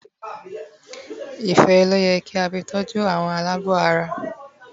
Ife loye ki a fi toju awon alaabo ara